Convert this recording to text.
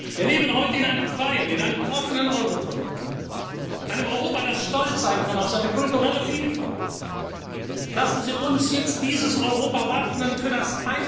geächtet. Wir leben heute in einem freien, in einem offenen Europa, einem Europa, das stolz sein kann auf seine kulturelle Vielfalt. Lassen Sie uns jetzt dieses Europa wappnen